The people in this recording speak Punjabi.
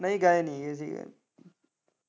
ਨਹੀਂ ਗਏ ਨੀ ਜੀ ਅਸੀਂ ਕਦੇ।